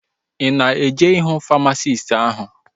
Ị na-eje ịhụ famasisti áhụ̀?